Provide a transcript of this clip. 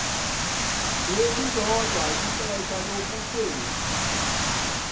lilodwa ixesha lokuthe